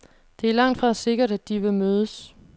Det er langtfra sikkert, at de vil mødes.